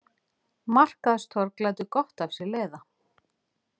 Markaðstorg lætur gott af sér leiða